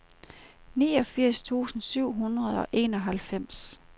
niogfirs tusind syv hundrede og enoghalvfems